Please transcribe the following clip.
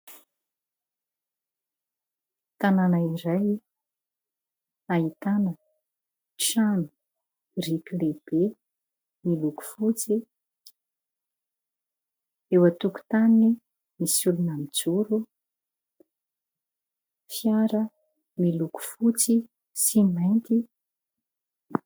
Tanàna iray ahitana trano biriky lehibe miloko fotsy. Eo an-tokotaniny misy olona mijoro, fiara miloko fotsy sy mainty.